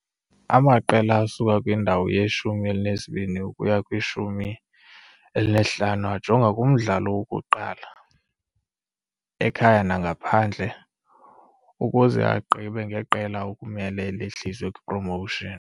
Amaqela asuka kwindawo yeshumi elinesibini ukuya kwishumi elinesihlanu ajonga kumdlalo wokuqala, ekhaya nangaphandle, ukuze agqibe ngeqela ekumele lihliswe kwiPromotion.